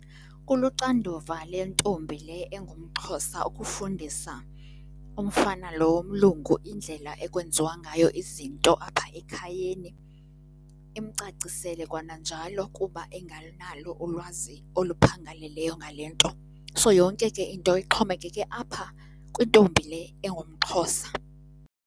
Kuluxanduva lentombi le engumXhosa ukufundisa umfana lo womlungu indlela ekwenziwa ngayo izinto apha ekhayeni, imcacisele kwananjalo kuba engenalo ulwazi oluphangaleleyo ngale nto. So yonke ke into ixhomekeke apha kwintombi le engumXhosa.